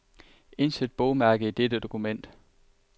Indsæt bogmærke i dette dokument.